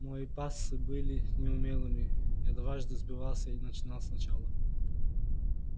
мой пассы были неумелыми я дважды сбивался и начинал сначала